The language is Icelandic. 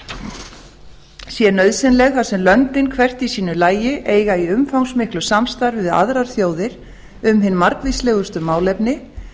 sé nauðsynleg þar sem löndin hvert í sínu lagi eiga í umfangsmiklu samstarf við aðrar þjóðir um hin margvíslegustu málefni